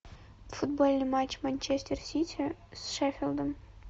футбольный матч манчестер сити с шеффилдом